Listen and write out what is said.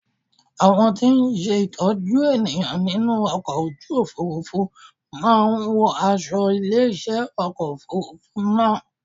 Àwọn tí ń ṣe ìtọ́jú ènìyàn nínú ọkọ̀ ojú Òfurufú máa ń wọ aṣo ilé iṣẹ́ ọkọ̀ Òfurufú náà.